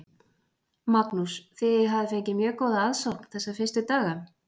Magnús: Þið hafið fengið mjög góða aðsókn þessa fyrstu daga?